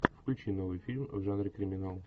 включи новый фильм в жанре криминал